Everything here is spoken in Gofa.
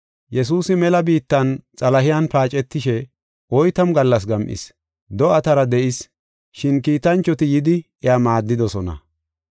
Yesuusi mela biittan Xalahen paacetishe oytamu gallas gam7is. Do7atara de7is, shin kiitanchoti yidi iya maaddidosona.